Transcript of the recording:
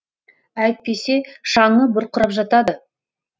әйтпесе шаңы бұрқырап жатады